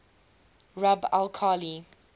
rub al khali